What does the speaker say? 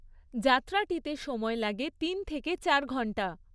যাত্রাটিতে সময় লাগে তিন থেকে চার ঘণ্টা।